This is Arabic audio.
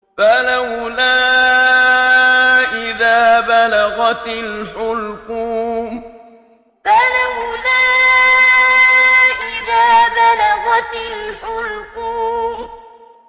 فَلَوْلَا إِذَا بَلَغَتِ الْحُلْقُومَ فَلَوْلَا إِذَا بَلَغَتِ الْحُلْقُومَ